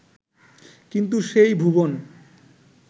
কিন্তু সেই ভুবন